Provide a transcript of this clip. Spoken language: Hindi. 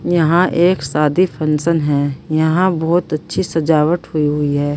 यहां एक शादी फंक्शन है यहां बहोत अच्छी सजावट हुई हुई है।